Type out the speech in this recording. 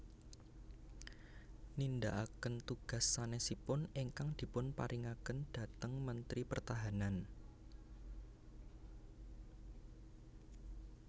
Nindakaken tugas sanésipun ingkang dipunparingaken dhateng Mentri Pertahanan